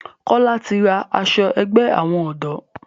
Kola tí rá aṣọ àgbè àwọn odò.